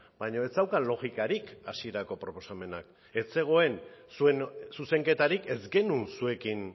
baina ez zeukan logikarik hasierako proposamenak ez zegoen zuen zuzenketarik ez genuen zuekin